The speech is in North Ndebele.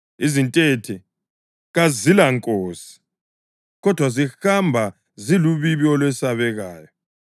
izintethe kazilankosi, kodwa zihamba ziludibi olwesabekayo;